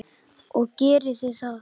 Og gerið þið það?